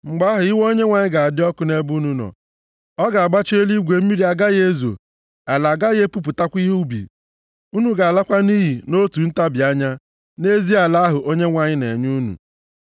Mgbe ahụ, iwe Onyenwe anyị ga-adị ọkụ nʼebe unu nọ, ọ ga-agbachi eluigwe, mmiri agaghị ezo, ala agaghị epupụtakwa ihe ubi, unu ga-alakwa nʼiyi nʼotu ntabi anya, nʼezi ala ahụ Onyenwe anyị na-enye unu.